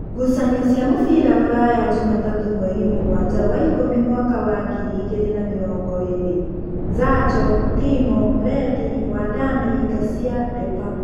Ngucanio cia mũbira Ruraya Jumatatũ mweri mũgwanja wa ikũmi mwaka wa ngiri igĩrĩ na namĩrongoĩrĩ: Zacho, Timo, Redi, Wandami, Ngacia, Ndepa